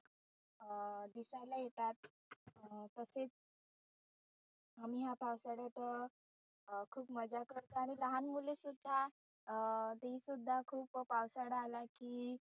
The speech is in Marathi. अं दिसायला येतात अं तसेच आम्ही या पावसाळ्यात अं खुप मजा करतो. आणि लहान मुले सुद्धा अं ती सुद्धा खुप पावसाळा आला की